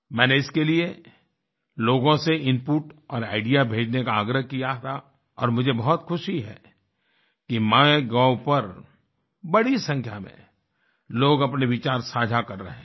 मैंने इसके लिए लोगों से इनपुट और आईडीईए भेजे ने का आग्रह किया था और मुझे बहुत खुशी है कि माइगोव पर बड़ी संख्या में लोग अपने विचार साझा कर रहे हैं